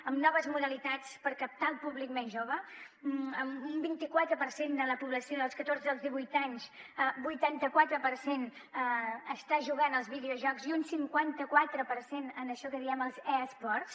amb noves modalitats per captar el públic més jove amb un vint quatre per cent de la població dels catorze als divuit anys vuitanta quatre per cent està jugant als videojocs i un cinquanta quatre per cent a això que en diem els e sports